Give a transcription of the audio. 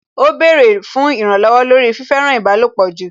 Ó bẹ̀rẹ̀ fún ìrànlọ̀wọ̀ lórí fífẹ́ràn ìbálòpọ̀ jù